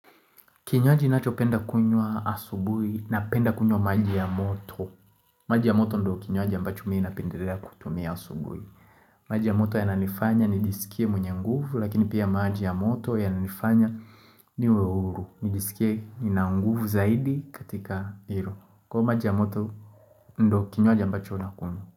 Kinywaji nacho penda kuynwa asubuhi na penda kunywa maji ya moto. Maji ya moto ndo kinywaji ambacho mi na pendelea kutumia asubuhi. Maji ya moto ya nanifanya nijisikie mwenye nguvu lakini pia maji ya moto ya nanifanya niwe uhuru. Nijisikie nina nguvu zaidi katika hiru. Kwa maji ya moto ndo kinywaji ambacho nakunywa.